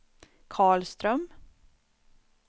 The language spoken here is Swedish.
Carl Ström